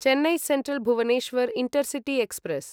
Chennai central Bhubaneswar intercity express